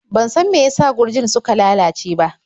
Ban san meyasa gurjin suka lalace ba.